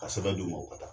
Ka sɛbɛn d'u ma u ka taa